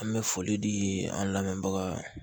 An bɛ foli di an lamɛnbagaw ma